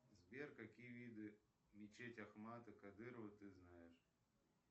сбер какие виды мечети ахмата кадырова ты знаешь